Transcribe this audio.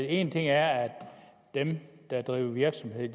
en ting er at dem der driver virksomhed